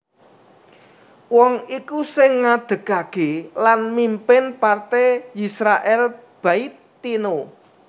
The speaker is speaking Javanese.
Wong iku sing ngadegaké lan mimpin partai Yisrael Beiteinu